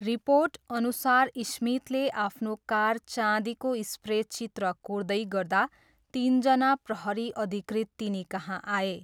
रिपोर्टअनुसार स्मिथले आफ्नो कार चाँदीको स्प्रे चित्र कोर्दै गर्दा तिनजना प्रहरी अधिकृत तिनीकहाँ आए।